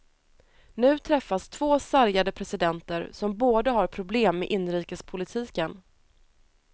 Nu träffas två sargade presidenter som båda har problem med inrikespolitiken.